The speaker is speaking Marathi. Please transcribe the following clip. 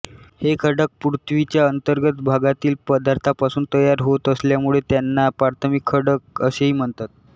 हे खडक पृथ्वीच्या अंतर्गत भागातील पदार्थापासून तयार होत असल्यामुळे त्यांना प्राथमिक खडक असेही म्हणतात